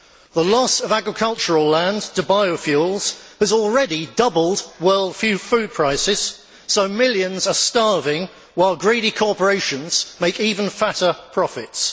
The loss of agricultural land to biofuels has already doubled world food prices, so millions are starving while greedy corporations make even fatter profits.